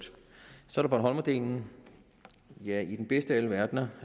så bornholmerdelen ja i den bedste af alle verdener